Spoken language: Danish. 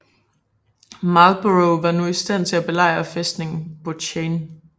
Marlborough var nu i stand til at belejre fæstningen Bouchain